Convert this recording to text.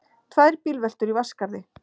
Tvær bílveltur í Vatnsskarði